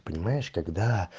понимаешь когда